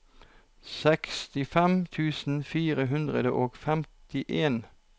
sekstifem tusen fire hundre og femtien